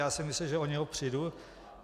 Já jsem myslel, že o něho přijdu.